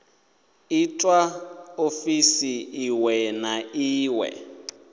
itwa ofisini iṅwe na iṅwe